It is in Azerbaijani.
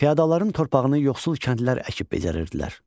Fiodalların torpağını yoxsul kəndlilər əkib becərirdilər.